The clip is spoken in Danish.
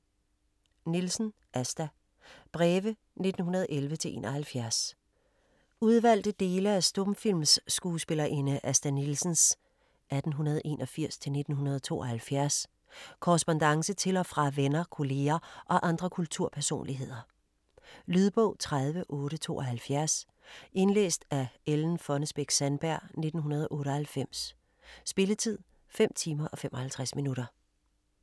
Nielsen, Asta: Breve 1911-71 Udvalgte dele af stumfilmskuespillerinde Asta Nielsens (1881-1972) korrespondance til og fra venner, kolleger og andre kulturpersonligheder. Lydbog 30872 Indlæst af Ellen Fonnesbech-Sandberg, 1998. Spilletid: 5 timer, 55 minutter.